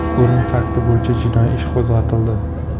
O‘lim fakti bo‘yicha jinoiy ish qo‘zg‘atildi.